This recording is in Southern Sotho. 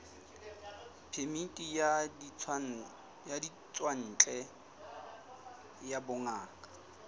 phemiti ya ditswantle ya bongaka